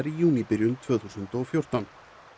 í júníbyrjun tvö þúsund og fjórtán